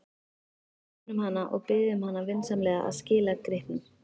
Við finnum hana og biðjum hana vinsamlega að skila gripnum.